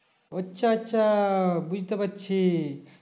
আচ্ছা আচ্ছা বুঝতে পারছি